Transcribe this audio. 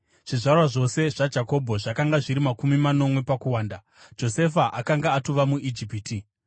Zvizvarwa zvose zvaJakobho zvakanga zviri makumi manomwe pakuwanda; Josefa akanga atova muIjipiti.